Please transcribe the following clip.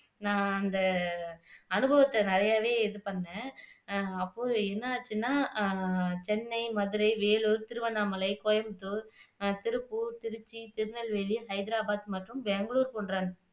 நான் அந்த அனுபவத்தை நிறையவே இது பண்ணுனேன் அப்போ என்னாச்சுன்னா அஹ் சென்னை, மதுரை, வேலூர், திருவண்ணாமலை, கோயம்புத்தூர், திருப்பூர், திருச்சி, திருநெல்வேலி, ஹைதராபாத் மற்றும் பெங்களூர் போன்ற